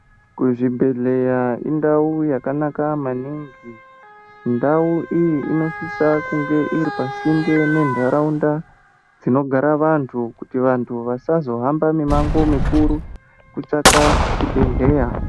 Kuzvibhedhlera indau yakanaka maningi. Ndau iyi inosisa kunge iri pasinde nendaraunda dzinogara vantu kuti vantu vasazohamba mimango mikuru kutsvaka chibhedhlera.